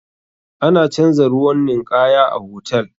Ana canza ruwan ninkaya a hotal.